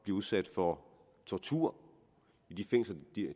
udsat for tortur